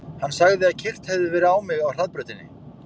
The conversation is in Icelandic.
Hann sagði að keyrt hefði verið á mig á hraðbrautinni.